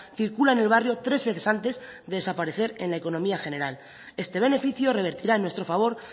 circula en el barrio tres veces antes que desaparecer en la económica general este beneficio revertirá en nuestro favor